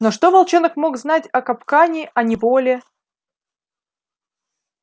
но что волчонок мог знать о капкане о неволе